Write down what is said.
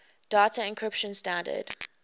data encryption standard